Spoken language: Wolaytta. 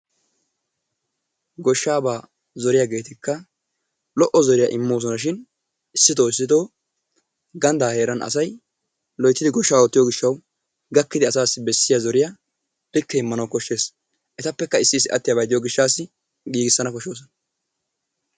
Gooshshaabaa zooriyaagettika lo"o zooriyaa immosonashin issitoo issito ganddaa heeran asay loyttidi gooshshaa oottiyoo giishawu gaakkidi asaasi bessiyaa zooriyaa likke immanawu koshshees. Etappeka issi issi attiyaabati de'iyoo giishshaasi giigissanawu kooshshoosona.